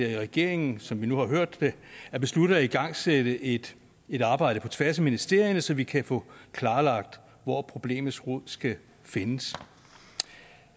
regeringen som vi nu har hørt det har besluttet at igangsætte et et arbejde på tværs af ministerierne så vi kan få klarlagt hvor problemets rod skal findes